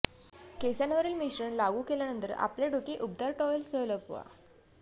केसांवरील मिश्रण लागू केल्यानंतर आणि आपले डोके उबदार टॉवेलसह लपवा